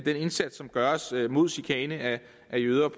indsats som gøres mod chikane af jøder